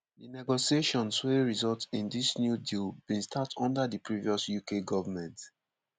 di negotiations wey result in dis new deal bin start under di previous uk goment.